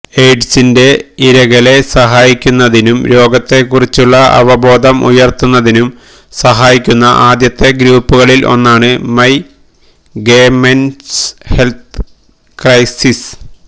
എയ്ഡ്സിന്റെ ഇരകളെ സഹായിക്കുന്നതിനും രോഗത്തെക്കുറിച്ചുള്ള അവബോധം ഉയർത്തുന്നതിനും സഹായിക്കുന്ന ആദ്യത്തെ ഗ്രൂപ്പുകളിൽ ഒന്നാണ് ഗേ മെൻസ് ഹെൽത്ത് ക്രൈസിസ്